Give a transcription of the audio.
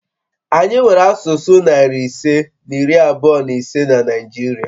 Anyị nwere asụsụ narị ise na iri abụọ na ise na Naịjirịa